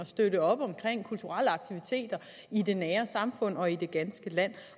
støtte op om kulturelle aktiviteter i det nære samfund og i det ganske land